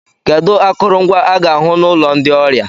kedu akụrụngwa a ga-ahu na ụlọ ndị ọrịa